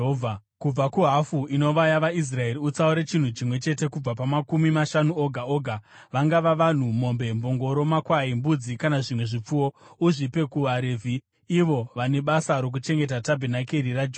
Kubva kuhafu inova yavaIsraeri, utsaure chinhu chimwe chete kubva pamakumi mashanu oga oga, vangava vanhu, mombe, mbongoro, makwai, mbudzi kana zvimwe zvipfuwo. Uzvipe kuvaRevhi, ivo vane basa rokuchengeta tabhenakeri yaJehovha.”